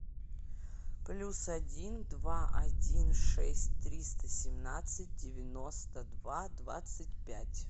плюс один два один шесть триста семнадцать девяносто два двадцать пять